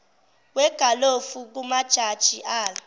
wegalofu kumajaji ala